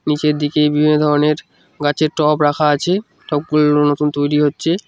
নীচের দিকে বিভিন্ন ধরনের গাছের টব রাখা আছে টব -গুলো নতুন তৈরি হচ্ছে।